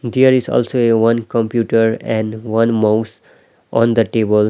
there is also a one computer and one mouse on the table.